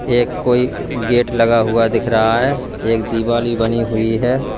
एक कोई गेट लगा हुआ दिख रहा है एक दिवाल भी बनी हुई है।